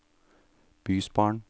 bysbarn